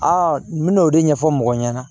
n bɛ n'o de ɲɛfɔ mɔgɔ ɲɛna